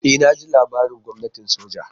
E naji labarin gwamnatin soja.